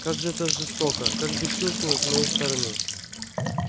как же это жестоко как бесчувственно с моей стороны